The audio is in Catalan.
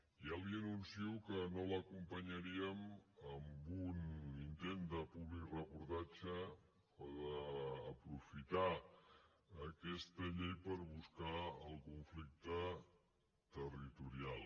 ja li anuncio que no l’acompanyaríem en un intent de publireportatge o d’aprofitar aquesta llei per buscar el conflicte territorial